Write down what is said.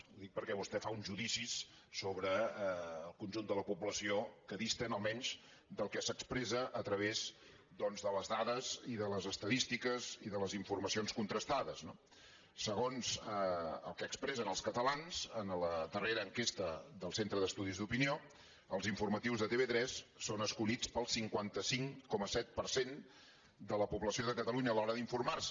i ho dic perquè vostè fa uns judicis sobre el conjunt de la població que disten almenys del que s’expressa a través doncs de les dades i de les estadístiques i de les informacions contrastades no segons el que expressen els catalans en la darrera enquesta del centre d’estudis d’opinió els informatius de tv3 són escollits pel cinquanta cinc coma set per cent de la població de catalunya a l’hora d’informar se